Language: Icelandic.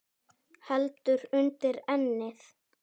Hendur undir ennið.